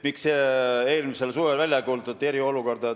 Miks eelmisel suvel ei kuulutatud välja eriolukorda?